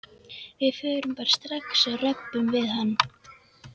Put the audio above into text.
Við förum bara strax og röbbum við hann.